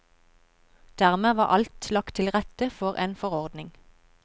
Dermed var alt lagt tilrette for en forordning.